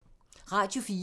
Radio 4